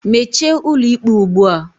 Meche ụlọikpe ugbua.